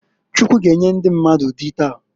Chukwu g'enye ndi mmadụ dị taa.